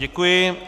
Děkuji.